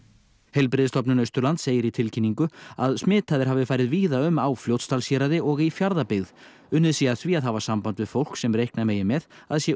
heilbrigðisstofnun Austurlands segir í tilkynningu að smitaðir hafi farið víða um á Fljótsdalshéraði og í Fjarðabyggð unnið sé að því að hafa samband við fólk sem reikna megi með að sé